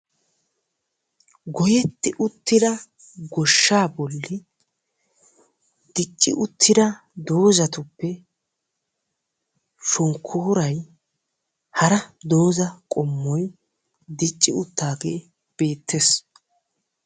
Goyetti uttida goshshaa bolli dicci uttida doozzatuppe shonkkooray hara doozza qommoy dicci uttaagee beettes.